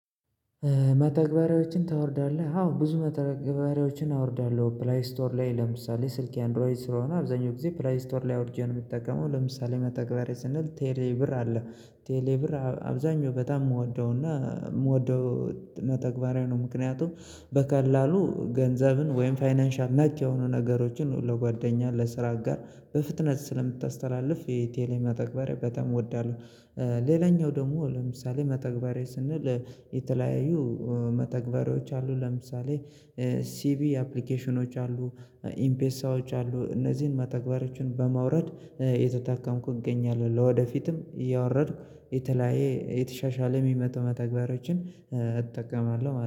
መተግበሪያዎችን ታወርዳለህ አዎ ብዙ መተግበሪያዎችን አወርዳለሁ ፕለይ ስቶር ላይ ለምሳሌ ስልኬ አንድሮይድ ስለሆነ አብዛኛው ጊዜ ፕለይ ስቶር ላይ አውርጄ ነው የምጠቀመው። ለምሳሌ መተግበሪያ ስንል ቴሌ ብር አለ ቴሌ ብር በጣም እምወደውና እምወደው መተግበሪያ ነው ምክንያቱም በቀላሉ ገንዘብን ወይም ፋይናንሻል ነክ የሆኑ ነገሮችን ለጓደኛ ለስራ አጋር በፍጥነት ስለምታስተላልፍ የቴሌ መተግበሪያ በጣም እወዳለሁ። ሌላኛው ደግሞ ለምሳሌ መተግበሪያ ስንል የተለያዩ መተግበሪያዎች አሉ። ለምሳሌ ሲቪ አፕሊኬሽኖች አሉ ኢምፔሳዎች አሉ። እነዚህን መተግበሪያዎችን በማውረድ እየተጠቀምኩ እገኛለሁ። ለወደፊትም እያወረድኩ የተለያየ የተሻሻለ እሚመጡ መተግበሪያዎችን እጠቀማለሁ ማለት